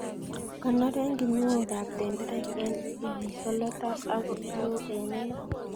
Konoren kinuokab tenderek en ilesolotat ako loo en inat.